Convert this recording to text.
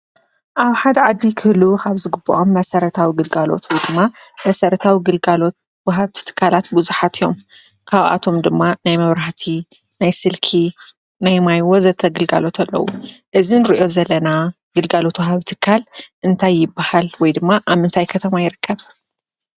ኣብ ሓደ ዓዲ ክህልው ካብ ዝግበኦም መሰረታዊ ግልጋሎት ወይ ድማ መሰረታዊ ግልጋሎት ወሃብቲ ትካላት ብዙሓት እዮም፡፡ ካብኣቶም ድማ ናይ መብራህቲ፣ ናይ ስልኪ ፣ናይ ማይ ወዘተ ግልጋሎት ኣለው፡፡ እዚ ንሪኦ ዘለና ግልጋዘሎት ወሃቢ ትካል እንታይ ይባሃል? ወይድማ ኣብ ምንታይ ከተማ ይርከብ?